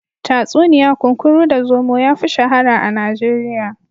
Tatsuniya kunkuru da zomo yafi shahara a Najeriya.